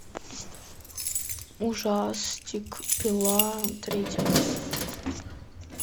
ужастик пила третья часть